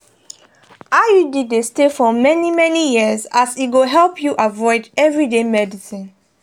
iud dey stay for many-many years as e go help you avoid everyday medicines.